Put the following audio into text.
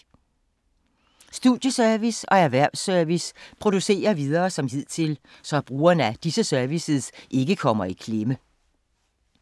Studieservice og Erhvervs-service producerer videre som hidtil, så brugere af disse services ikke kommer i klemme.